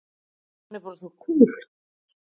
Hann er bara svo kúl!